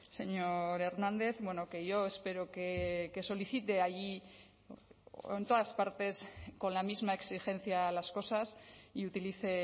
señor hernández que yo espero que solicite allí en todas partes con la misma exigencia a las cosas y utilice